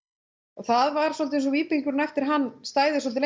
það var svolítið eins og víbringurinn eftir hann stæði svolítið